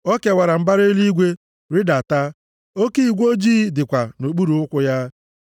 O kewara mbara eluigwe, rịdata; oke igwe ojii dịkwa nʼokpuru ụkwụ ya.